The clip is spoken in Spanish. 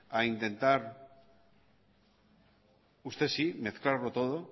a intentar usted sí mezclarlo todo